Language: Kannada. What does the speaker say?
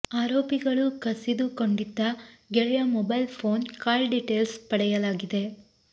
ಆರೋಪಿಗಳು ಕಸಿದು ಕೊಂಡಿದ್ದ ಗೆಳೆಯ ಮೊಬೈಲ್ ಫೋನ್ ಕಾಲ್ ಡೀಟೈಲ್ಸ್ ಪಡೆಯಲಾಗಿದೆ